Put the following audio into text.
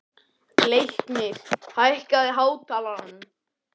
Leiknir, hækkaðu í hátalaranum.